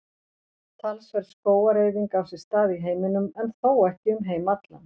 Talsverð skógareyðing á sér stað í heiminum en þó ekki um heim allan.